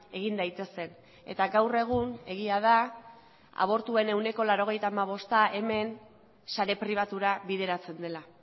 egin daitezen eta gaur egun egia da abortuen ehuneko laurogeita hamabosta hemen sare pribatura bideratzen dela